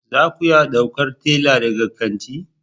Za ku iya ɗaukar tela daga kanti